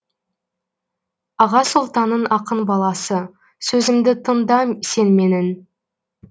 аға сұлтанның ақын баласы сөзімді тыңда сен менің